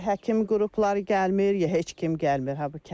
Ya həkim qrupları gəlmir, ya heç kim gəlmir ha bu kəndə.